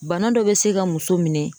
Bana dɔ be se ka muso minɛ.